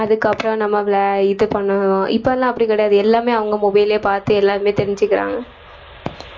அதுக்கப்புறம் நம்மள இது பண்ணனும் இப்ப எல்லாம் அப்படி கிடையாது எல்லாமே அவங்க mobile லயே பார்த்து எல்லாருமே தெரிஞ்சுக்கறாங்க